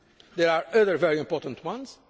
there are other very important ones.